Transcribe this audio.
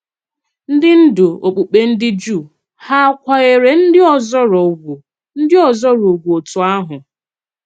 Ndị ndú okpùkpe ndị Jùù hà à kwànyèrè ndị òzòrò ùgwù ndị òzòrò ùgwù òtù ahụ?